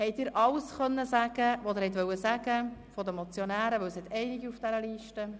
Haben Sie seitens der Motionäre alles sagen können, was Sie sagen wollten, denn es hat einige Mitmotionäre auf dieser Liste?